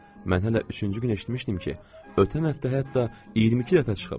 Mən hələ üçüncü gün eşitmişdim ki, ötən həftə hətta 22 dəfə çıxıb.